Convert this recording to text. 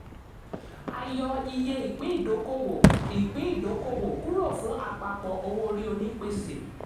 a yọ iye ìpín ìdókòwò ìpín ìdókòwò kúrò fún àpapọ̀ owó orí onípèsè.